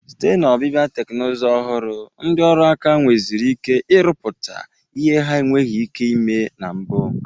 Site na ọbịbịa teknuzu ọhụrụ, ndi ọrụ aka nweziri ike irụpụta ihe ha enweghị ike ime na mbụ.